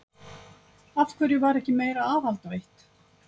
Af hverju var ekki meira aðhald veitt?